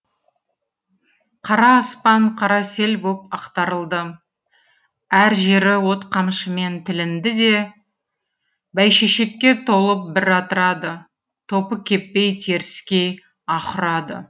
қара аспан қара сел боп ақтарылды әр жері от қамшымен тілінді де бәйшешекке толып бір атырады топы кеппей теріскей аһ ұрады